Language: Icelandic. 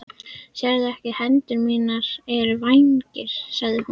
Sérðu ekki að hendur mínar eru vængir? sagði hún.